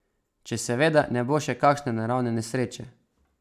Če seveda ne bo še kake naravne nesreče.